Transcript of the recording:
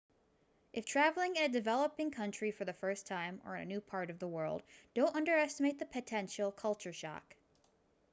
if traveling in a developing country for the first time or in a new part of the world don't underestimate the potential culture shock